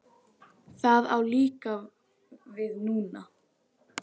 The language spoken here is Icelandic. Það á líka við núna.